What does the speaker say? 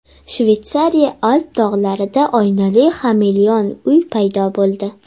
Shveysariya Alp tog‘larida oynali xameleon-uy paydo bo‘ldi .